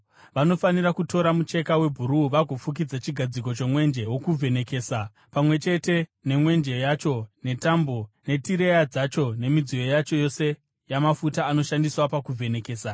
“Vanofanira kutora mucheka webhuruu vagofukidza chigadziko chomwenje wokuvhenekesa, pamwe chete nemwenje yacho netambo netireya dzacho nemidziyo yacho yose yamafuta anoshandiswa pakuvhenekesa.